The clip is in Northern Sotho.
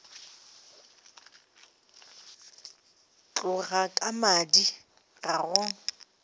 tloga ka madi ga go